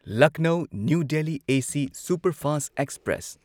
Lucknow new Delhi AC superfast express